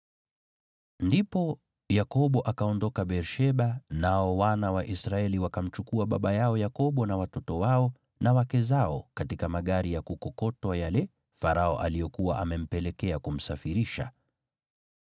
Ndipo Yakobo akaondoka Beer-Sheba nao wana wa Israeli wakamchukua baba yao Yakobo na watoto wao na wake zao katika magari ya kukokotwa yale Farao aliyokuwa amempelekea kumsafirisha.